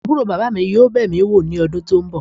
Aburo baba mi yoo be mi wo ni odun to nbo.